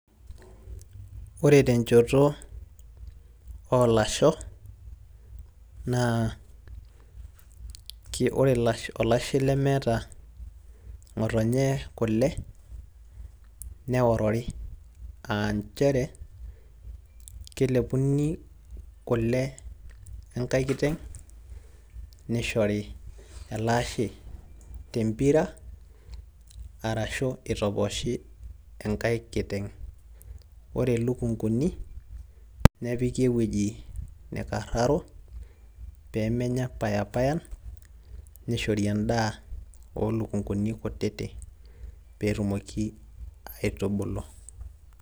ore tenchoto oolasho naa ore olashe lemeeta ng'otonye kule, neorori, aa nchere kelepuni kule tenkae kiteng' nishori ele ashe tempira ashu itoposhi enkae kiteng'.ore ilukunkuni, nepiki ewueji nikararo pee menya payapayan ,netumoki aatubulu.